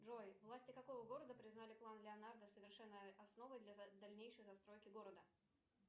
джой власти какого города признали план леонардо совершенной основой для дальнейшей застройки города